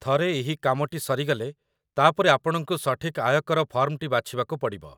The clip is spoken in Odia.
ଥରେ ଏହି କାମଟି ସରିଗଲେ, ତା'ପରେ ଆପଣଙ୍କୁ ସଠିକ୍ ଆୟକର ଫର୍ମଟି ବାଛିବାକୁ ପଡ଼ିବ